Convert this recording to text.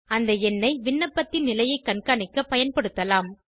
இந்த எண்ணை விண்ணப்பத்தின் நிலையை காண்காணிக்க பயன்படுத்தலாம்